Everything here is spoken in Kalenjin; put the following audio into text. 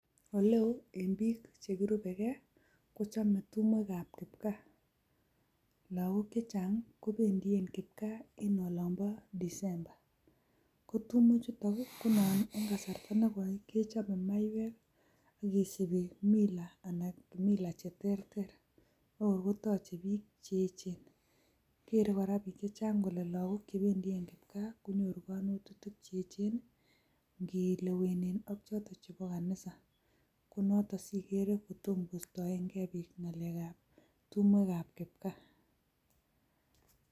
Ole ooen biik che kirubekee kochome tumwekab kipgaa. Lagok chechang kobendien kipgaa en olonbo December. Kotumwechutun ii konan en kasarta me koi kechobe maiywek kiisibi mila che terter. Neo kotache biik che echen, keree kora biiik chechang kolelagok che bendien kipgaa konyoru kanetutik che echen ngilewenen ak choto chebo kanisa. Konoto sigeree kotom kostoenge biik ngalekab tumwekab kipgaa.